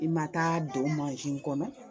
I ma taa don kɔnɔ